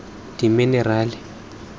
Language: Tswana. diminerale